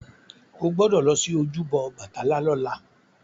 Ó gbọ́dọ̀ lọ sí ojúbọ Ọbàtálá lọ́la!